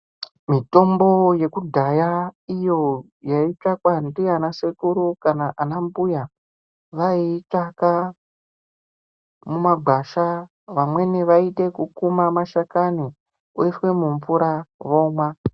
Mitombo yekudhaya iyo yaitsvakwa ndiana sekuru ana mbuya vayiitsvaka mumagwasha vamweni vayiite yekuma mashakani voisa mumvura vomwa.